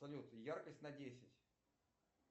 салют яркость на десять